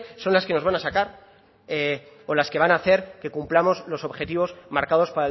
son las que nos van a sacar o las que van a hacer que cumplamos los objetivos marcados